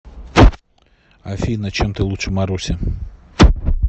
афина чем ты лучше маруси